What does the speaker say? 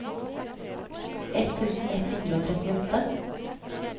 ett tusen ett hundre og trettiåtte